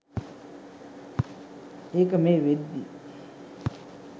ඒක මේ වෙද්දි.